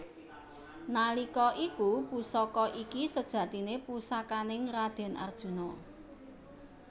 Nalika iku Pusaka iki sejatine pusakaning raden Arjuna